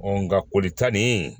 nka kolita nin